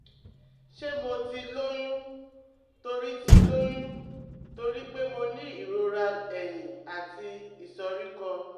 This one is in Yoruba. Ṣé mo ti lóyún torí ti lóyún torí pé mo ní ìrora ẹ̀yìn àti ìsoríkọ́?